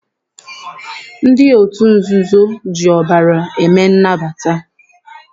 Ndị otu nzuzo ji ọbara eme nnabata.